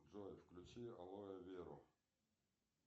джой включи алое веру